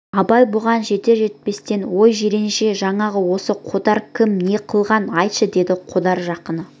абай бұған жетер-жетпестен өй жиренше жаңағы осы қодар кім не қылған айтшы деді қодар жақыны